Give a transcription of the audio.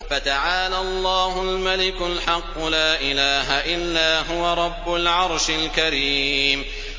فَتَعَالَى اللَّهُ الْمَلِكُ الْحَقُّ ۖ لَا إِلَٰهَ إِلَّا هُوَ رَبُّ الْعَرْشِ الْكَرِيمِ